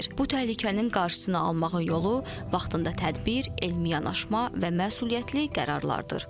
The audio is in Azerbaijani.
Bu təhlükənin qarşısını almağın yolu vaxtında tədbir, elmi yanaşma və məsuliyyətli qərarlardır.